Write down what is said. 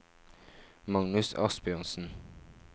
Magnus Asbjørnsen